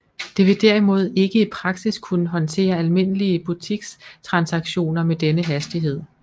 Det vil derimod ikke i praksis kunne håndtere almindelige butikstransaktioner med denne hastighed